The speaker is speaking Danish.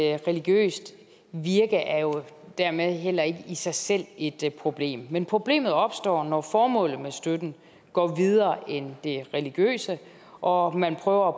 et religiøst virke er jo dermed heller ikke i sig selv et problem men problemet opstår når formålet med støtten går videre end det religiøse og man prøver